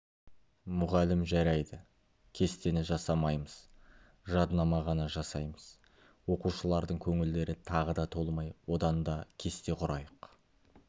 мұғалім жарайды кестені жасамаймыз жаднама ғана жасаймыз оқушылардың көңілдері тағы да толмай одан да кесте құрайық